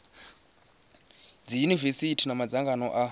dzi yunivesithi na madzangano a